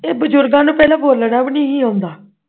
ਇਹ ਬਜ਼ੁਰਗਾਂ ਨੂੰ ਪਹਿਲਾਂ ਬੋਲਣਾ ਵੀ ਨਹੀਂ ਸੀ ਆਉਂਦਾ